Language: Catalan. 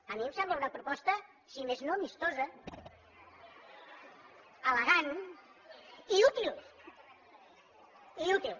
a mi em sembla una proposta si més no amistosa elegant i útil i útil